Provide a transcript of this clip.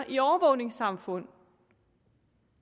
et overvågningssamfund